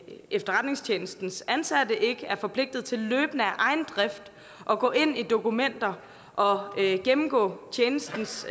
efterretningstjenestens ansatte ikke er forpligtet til løbende af egen drift at gå ind i dokumenter og gennemgå tjenestens